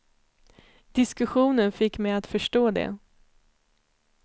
Diskussionen fick mig att förstå det.